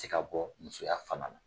Ti ka bɔ musoya fana na.